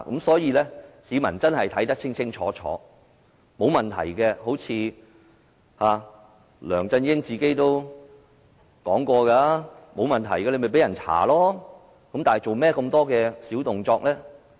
所以，市民真的要看清楚，梁振英也說過，如果沒有問題的話，便任由大家調查，為何要做那麼多小動作？